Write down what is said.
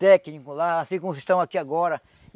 Técnico lá, assim como vocês estão aqui agora.